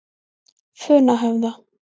Funahöfða